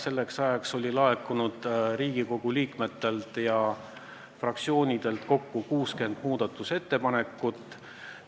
Selleks ajaks oli laekunud Riigikogu liikmetelt ja fraktsioonidelt kokku 60 muudatusettepanekut.